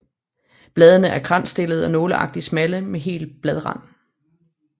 Bladene er kransstillede og nåleagtigt smalle med hel bladrand